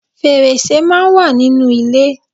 Fèrèsé máa ń wà nínú ilé